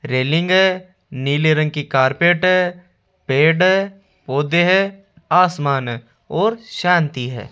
Railing नीले रंग की कारपेट पेड़ पौधे है आसमान और शांति है।